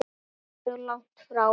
Ekkert mjög langt frá.